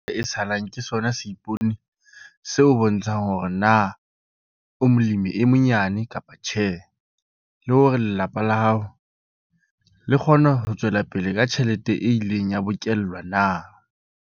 E salang ke sona seipone se o bontshang hore na o molemi e monyane kapa tjhe, le hore lelapa la hao le kgona ho tswela pele ka tjhelete e ileng ya bokellwa na.